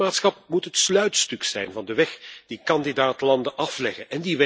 Het lidmaatschap moet het sluitstuk zijn van de weg die kandidaat landen afleggen.